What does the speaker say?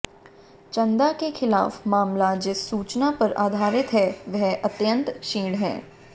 चंदा के खिलाफ मामला जिस सूचना पर आधारित है वह अत्यंत क्षीण है